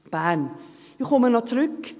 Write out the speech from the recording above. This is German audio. Ich komme noch zurück: